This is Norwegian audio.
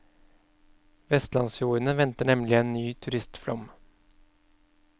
Vestlandsfjordene venter nemlig en ny turistflom.